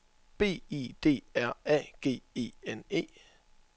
B I D R A G E N E